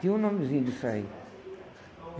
Tinha um nomezinho disso aí.